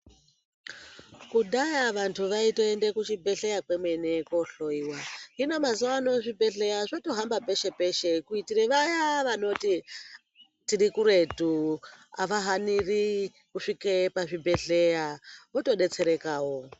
Kudhaya vanhu vaitoende kuchibhehleya kwemene kohloyiwa hino mazuwa ano zvibhehleya zvotohamba peshe peshe kuitire vaya vanoti tirikuretu avahaniri kusvike pazvibhehleya votodetserekawo.